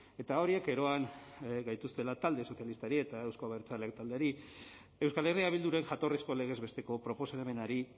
eta horiek eroan gaituztela talde sozialistari eta euzko abertzaleak taldeari euskal herria bilduren jatorrizko legez besteko proposamenari